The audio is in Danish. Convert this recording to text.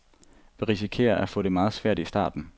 Vi risikerer at få det meget svært i starten.